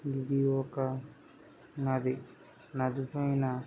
ఇది ఒక నది నది పైన--